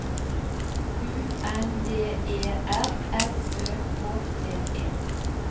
U N D E R S Ø K T E